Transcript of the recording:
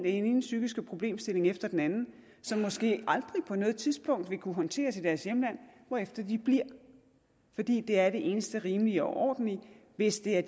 ene psykiske problemstilling efter den anden som måske aldrig på noget tidspunkt vil kunne håndteres i deres hjemland hvorefter de bliver fordi det er det eneste rimelige og ordentlige hvis det er